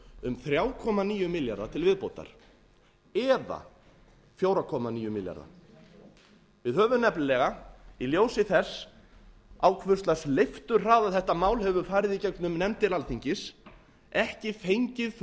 um þrjú komma níu milljarða til viðbótar eða fjögur komma níu milljarða við höfum nefnilega í ljósi þess á hvers lags leifturhraða þetta mál hefur farið í gegnum nefndir alþingis ekki fengið